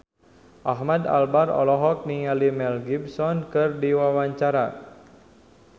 Ahmad Albar olohok ningali Mel Gibson keur diwawancara